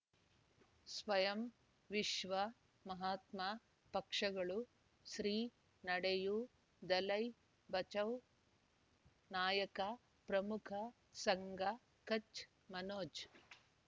ಸ್ವಯಂ ವಿಶ್ವ ಮಹಾತ್ಮ ಪಕ್ಷಗಳು ಶ್ರೀ ನಡೆಯೂ ದಲೈ ಬಚೌ ನಾಯಕ ಪ್ರಮುಖ ಸಂಘ ಕಚ್ ಮನೋಜ್